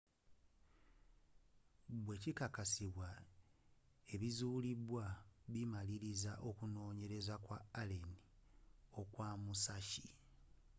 bwekikakasibwa ebizuulidwa bimaliriza okunoonyereza kwa allen okwa musashi